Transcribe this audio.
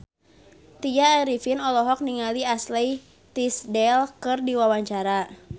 Tya Arifin olohok ningali Ashley Tisdale keur diwawancara